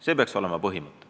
See peaks olema põhimõte.